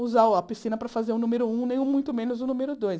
Usar a piscina para fazer o número um, nem muito menos o número dois.